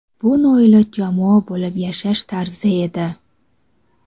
Bu noiloj jamoa bo‘lib yashash tarzi edi.